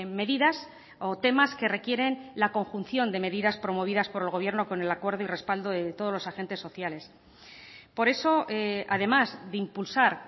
medidas o temas que requieren la conjunción de medidas promovidas por el gobierno con el acuerdo y respaldo de todos los agentes sociales por eso además de impulsar